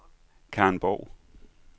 Karin Borg